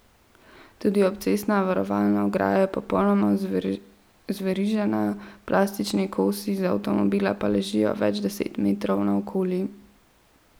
Tudi obcestna varovalna ograja je popolnoma zverižena, plastični kosi z avtomobila pa ležijo več deset metrov naokoli.